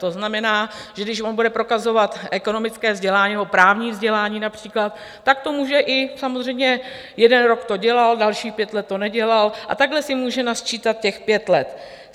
To znamená, že když on bude prokazovat ekonomické vzdělání nebo právní vzdělání například, tak to může i - samozřejmě, jeden rok to dělal, dalších pět let to nedělal, a takhle si může nasčítat těch pět let.